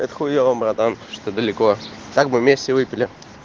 это хуёво братан что далеко так бы вместе выпили